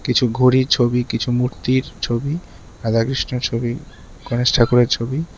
একটি খুলা জায়গার মধ্যে রয়েছে।